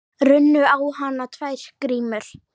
Runnu á hana tvær grímur.